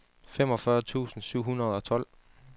femogfyrre tusind syv hundrede og tolv